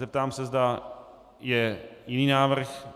Zeptám se, zda je jiný návrh.